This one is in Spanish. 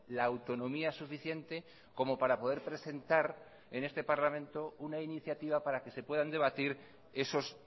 la autonomía suficiente como para poder presentar en este parlamento una iniciativa para que se puedan debatir esos